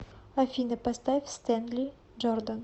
афина поставь стэнли джордан